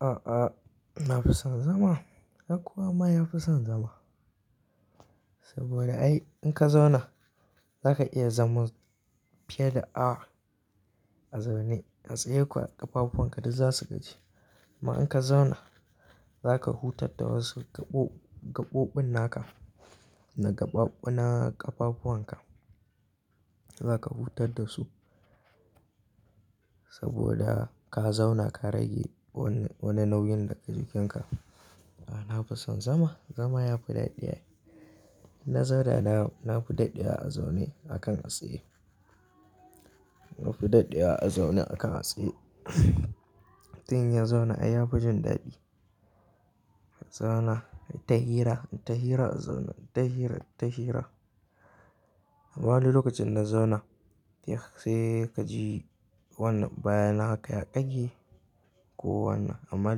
A'a, na fi son zama. Ai kowa ma ya fi son zama. Saboda ai in ka zauna za ka iya zama fiye da a'a a zaune. A tsaye kuwa ƙafafuwan ka duk za su gaji. Amma in ka zauna za ka hutar da wasu gaɓoɓin naka na ƙafafuwan ka. Za ka hutat da su saboda ka zauna ka rage wani nauyin daga jikinka. A'a, na fi son zama. Zama yafi daɗi. Inna zauna da na na fi daɗewa a zaune akan a tsaye. Na fi daɗi a zaune akan a tsaye. Mutun in ya zauna ai ya fi jin dadi. Zauna in ta hira, in ta hira a zaune, in ta hira in ta hira. Amma wani lokacin in na zauna sai ka ji wannan bayana haka ya ƙage ko wannan. Amma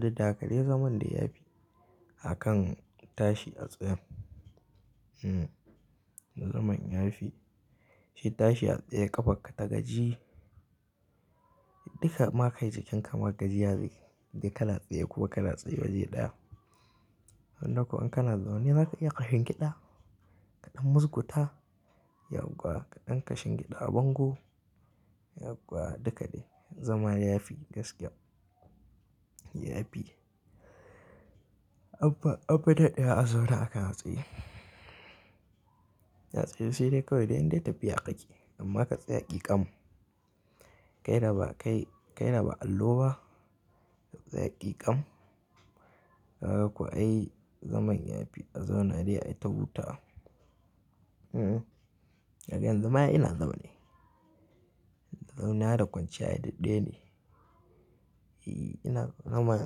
dudda haka dai zaman dai ya fi akan tashi a tsayen. Hmm, zaman ya fi. Shi tashi a tsaye ƙafarka ta gaji duka ma kai jikinka ma kaji ya gaji. Dai ka na tsaye ko ka na tsaye waje ɗaya. Amma dai ko in kana zaune za ka iya kashingiɗa kaɗan, musguda. Yauwa kaɗan ka shingiɗa a bango. Yauwa duka dai zama ya fi gaskiya. Anfi, anfi daɗewa a zaune akan a tsaye. A tsaye sai dai kawai dai in dai tafiya ka ke. Amma ka tsaya ƙiƙam. Kai da ba kai, kai da ba allo ba ka tsaya. Kikam. Kaga kuwa ai zaman ya fi a zauna dai ai ta hutawa. Hmm, daga yanzu ma ina zaune. Zauniya da kwanciya ai duk ɗaya ne. E, ina nama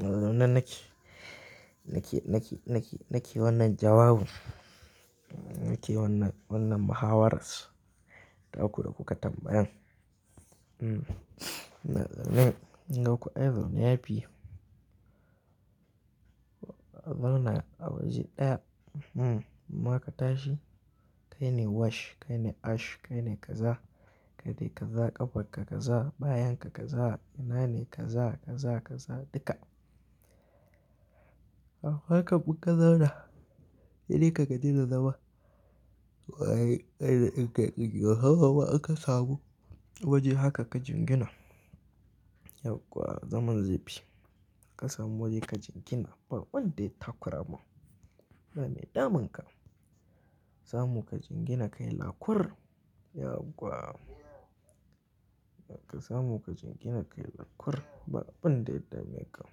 ina azaune nake. Nake, nake, nake wannan jawabun. Nake wannan, wannan mahawaras. Ta ku da kuka tambayan. Hmm, ina zaune. Kun ga ko ai zaune yafi. Zauna a waje ɗaya. Hmm, amma ma ka tashi kai ne wash, kai ne ash, kai ne kaza. Kai dai kaza ƙafarka kaza, bayan ka kaza, ina ne kaza, kaza, kaza duka. Haka duk ka zauna. Sai dai ka gaji da zama. Hawa ba aka samu waje haka ka jingina. Yau kuwa zaman zai fi. Ka samu waje ka jingina. Ba wanda ya takura ma. Ba me daman ka. Sa mu ka jingina kai lakur. Yau kuwa, yanka samu ka jingina kai lakur. Ba abin da ya dame ka.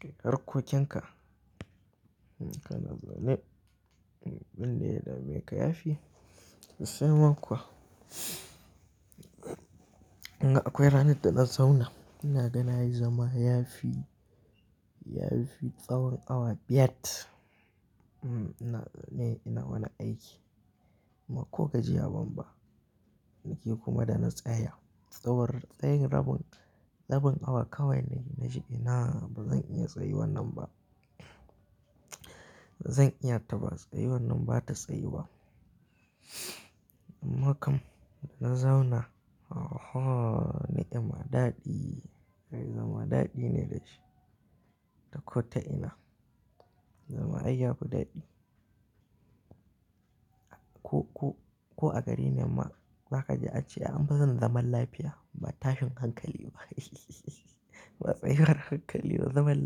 Kai harkokin ka. In ka na zaune, abin da ya dame ka ya fi. Sai man kuwa, akwai rana da na zauna ina gani ai zama ya fi, ya fi tsawon awa biyar. Hmm, ina zaune ina wana aiki. Amma ko gaji ya bamba. Nake kuma da na tsaya. Tsawon tsayin rabin, rabin awa kawai na yi na ji ina ba zan iya tsayi wannan ba. Ba zan iya ta ba. Tsayi wannan ba ta tsayi ba. Amma kam da na zauna. Oho! Ni amma daɗi. Ai zama daɗi ne da shi. Da ko ta ina. Zama ai ya fi daɗi. Ko, ko, ko a gari ne ma za ka ji an ce an fi son zaman lafiya ba tashin hankali ba. Ba tsayi war hankali ba zaman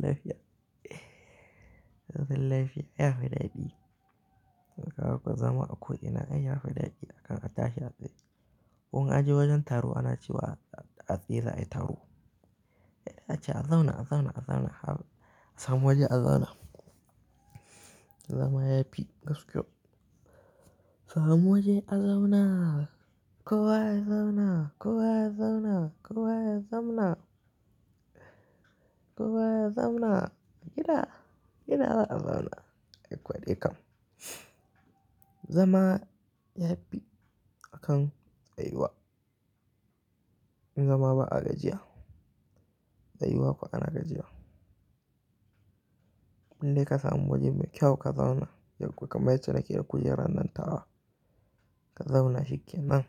lafiya. Zaman lafiya ya fi daɗi. Kaga kuwa zama a ko ina ai ya fi daɗi akan a tashi a tsaye. Ko in a je wajen taro ana cewa a tsaye za a yi taro. Ya dace a zauna, a zauna, a zauna har a samu waje a zauna. Zama yafi gaskiya. Samu waje a zauna. Kowa ya zauna. Kowa ya zauna. Kowa ya zamna. Kowa ya zamna. Gida, gida ba a zauna. Ai kwadoi yakan. Zama yafi akan tsayi wa. In zama ba a gajiya. Tsayi wa fa ana gajiya. Indai ka samu waje mai kyau ka zauna. Yau kuwa kamar ce nake a kujera nan tawa. Ka zauna shikenan.